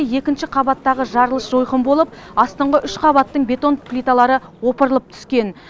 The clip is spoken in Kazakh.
екінші қабаттағы жарылыс жойқын болып астыңғы үш қабаттың бетон плиталары опырылып түскен